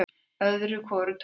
Öðru hvoru tók